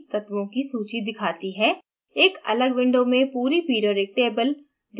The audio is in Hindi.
element drop down सूची तत्वों की सूची दिखाती है